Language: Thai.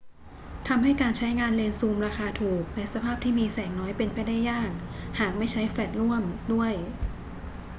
ทำให้การใช้งานเลนส์ซูมราคาถูกในสภาพที่มีแสงน้อยเป็นไปได้ยาก หากไม่ใช้แฟลชร่วมด้วย